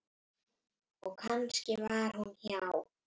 Og kannski var hún hjá